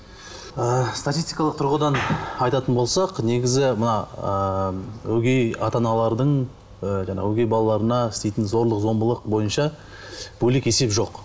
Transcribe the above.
ы статистикалық тұрғыдан айтатын болсақ негізі мына ыыы өгей ата аналардың ы жаңағы өгей балаларына жаңағы істейтін зорлық зомбылық бойынша бөлек есеп жоқ